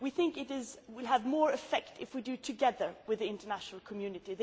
We think it will have more effect if we do it together with the international community.